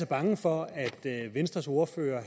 bange for at venstres ordfører